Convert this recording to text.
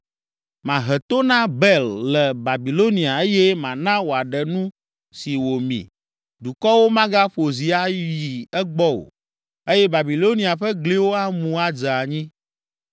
Mahe to na Bel le Babilonia eye mana wòaɖe nu si wòmi. Dukɔwo magaƒo zi ayi egbɔ o eye Babilonia ƒe gliwo amu adze anyi.